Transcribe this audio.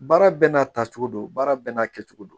Baara bɛɛ n'a ta cogo don baara bɛɛ n'a kɛcogo don